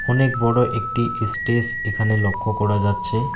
অনেক বড় একটি এস্টেজ এখানে লক্ষ করা যাচ্ছে।